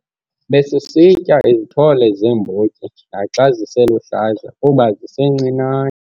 Besisitya izithole zeembotyi naxa ziseluhlaza kuba zisencinane.